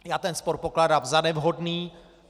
Já ten spor pokládám za nevhodný.